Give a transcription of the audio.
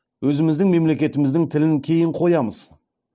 өзіміздің мемлекетіміздің тілін кейін қоямыз